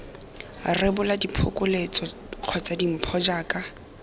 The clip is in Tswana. rebola diphokoletso kgotsa dimpho jaaka